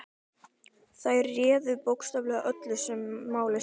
Þær réðu bókstaflega öllu sem máli skipti.